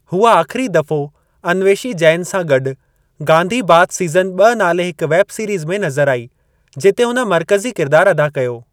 हूअ आख़िरी दफ़ो अन्वेषी जैन सां गॾु गांधी बाति सीज़न ॿ नाले हिक वेब सीरीज़ में नज़र आई जिते हुन मर्कज़ी किरिदारु अदा कयो।